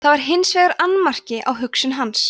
það var hins vegar annmarki á hugsun hans